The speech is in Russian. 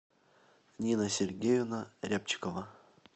нина сергеевна рябчикова